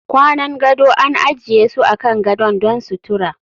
Kwanan gado an ajiye su akan gadon don sutura